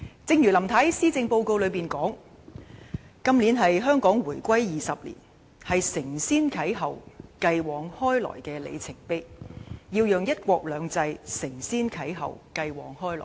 正如林太在施政報告中提到，"今年是香港回歸祖國20年，是承先啟後，繼往開來的里程碑"，我們要讓"一國兩制"承先啟後，繼往開來。